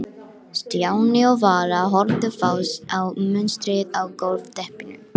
Stjáni og Vala horfðu fast á munstrið á gólfteppinu.